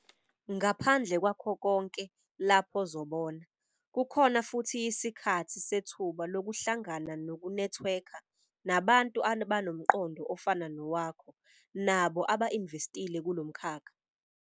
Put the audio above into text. Ngaphandle kwakho konke lapha ozobona, kukhona futhi yisikhathi sethuba lokuhlangana nokunethiwekha nabantu abanomqondo ofana nowakho nabo aba-investile kulo mkhakha.